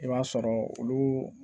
I b'a sɔrɔ olu